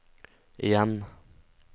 igjen